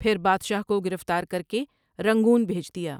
پھر بادشاہ کو گرفتار کرکے رنگون بھیج دیا ۔